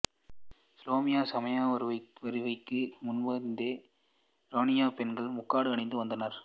இசுலாமிய சமய வருகைக்கு முன்பிருந்தே ஈரானியப் பெண்கள் முக்காடு அணிந்து வந்துள்ளனர்